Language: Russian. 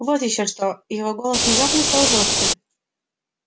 вот ещё что его голос внезапно стал жёстким